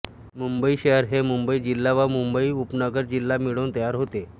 मुंबई शहर हे मुंबई जिल्हा व मुंबई उपनगर जिल्हा मिळून तयार होते